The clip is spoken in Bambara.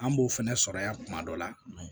An b'o fɛnɛ sɔrɔ yan kuma dɔ la